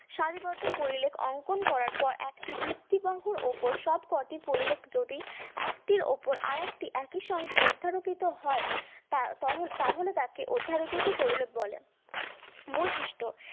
সারিবদ্ধ পরিলেখ অঙ্কন করার পর একটি ভিত্তিকাঙ্কুর ওপর সবকটি পরিলেখ যদি একটির উপর আরেকটি একইসঙ্গে অধ্যারোপিত হয় তা তো তাহলে তাকে অধ্যারোপিত পরিলেখ বলে বৈশিষ্ট্য